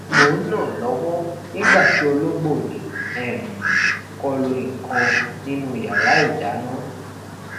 mo n na lọwọ nigba ti ologbo ni um kọlu nnkan ninu yara idana